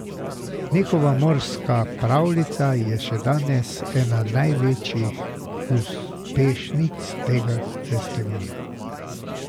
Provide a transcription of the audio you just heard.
Njihova Morska pravljica je še danes ena največjih uspešnic tega festivala.